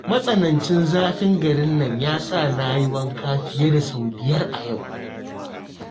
Matsanancin zafin garin nan ya sa na yi wanka fiye da sau biyar a yau